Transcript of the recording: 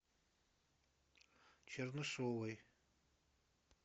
чернышовой